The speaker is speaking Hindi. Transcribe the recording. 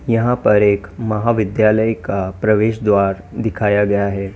यहां पर एक महाविद्यालय का प्रवेश द्वार दिखाया गया है।